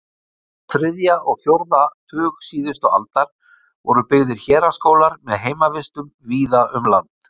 Á þriðja og fjórða tug síðustu aldar voru byggðir héraðsskólar með heimavistum víða um land.